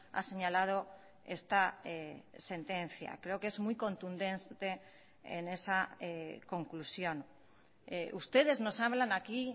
ha señalado esta sentencia creo que es muy contundente en esa conclusión ustedes nos hablan aquí